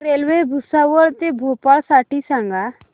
railway Bhusawal ते भोपाळ साठी सांगा